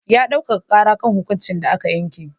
Ya ɗaukaka ƙara kan hukuncin da aka yanke.